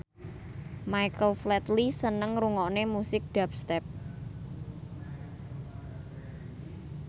Michael Flatley seneng ngrungokne musik dubstep